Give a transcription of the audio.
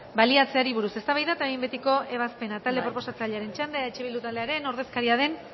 baliatzeari buruz eztabaida eta behin betiko ebazpena talde proposatzailearen txanda eh bildu taldearen ordezkaria den